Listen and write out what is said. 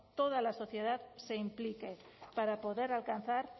toda la sociedad se implique para poder alcanzar